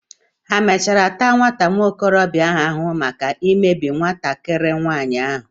Hà mechara taa nwa okorobia ahụ ahụhụ maka imegbu nwatakiri nwaanyi ahụ?